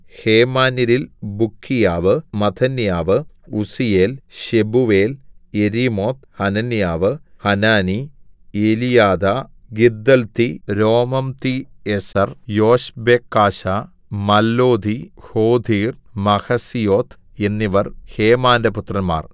ഹേമാന്യരിൽ Bukkiah Mattaniah Uzziel Shebuel Jerimoth Hananiah Hanani Eliathah Giddalti Romamtiezer Joshbekashah Mallothi Hothir Mahazioth എന്നിവർ ഹേമാന്റെ പുത്രന്മാർ